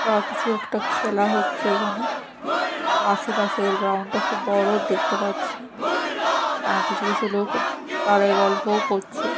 বা কিছু একটা খেলা হচ্ছে এখানে আর আশেপাশের গ্রাউন্ড -টা খুব বড় দেখতে পাচ্ছি অ্যা কিছু কিছু লোক দাঁড়ায় গল্পও করছে।